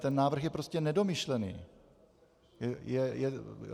Ten návrh je prostě nedomyšlený.